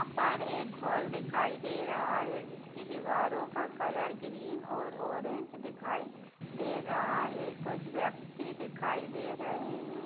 यहाँ पर एक हाल दिखाई दे रहा है जिसकी दीवारो का कलर ग्रीन और ऑरेंज दिखाई दे रहा है कुछ व्यक्ति दिखाई दे रहे हैं।